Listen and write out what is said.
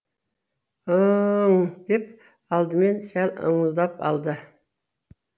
ы ы ың деп алдымен сәл ыңылдап алды